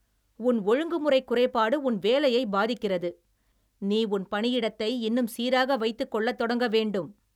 உன் ஒழுங்குமுறைக் குறைபாடு உன் வேலையைப் பாதிக்கிறது. நீ உன் பணியிடத்தை இன்னும் சீராக வைத்துக் கொள்ளத் தொடங்க வேண்டும்